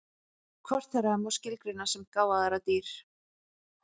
Hvort þeirra má skilgreina sem gáfaðra dýr?